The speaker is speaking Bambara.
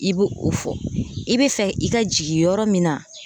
I bɛ o fɔ i bɛ fɛ i ka jigin yɔrɔ min na